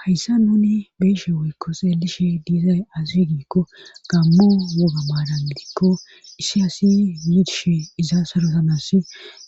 Hayssa nuni beeshe woykko seelishe diizay azigiikko gammo woga maadan gidikko issi asii yiidishe iza sarosamasi